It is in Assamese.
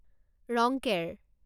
ৰংকেৰ